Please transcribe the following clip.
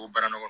O baara nɔgɔ